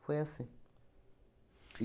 Foi assim.